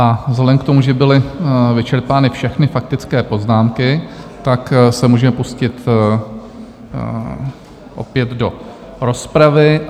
A vzhledem k tomu, že byly vyčerpány všechny faktické poznámky, tak se můžeme pustit opět do rozpravy.